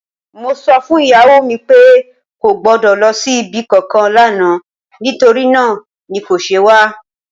Mo sọ fún ìyàwó mi pé kò gbọ́dọ̀ lọ sí ibi kankan lánàá, nítorí náà ni kò ṣe wá.